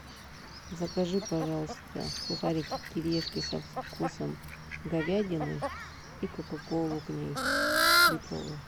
закажи пожалуйста сухарики кириешки со вкусом говядины и коку колу к ней литровую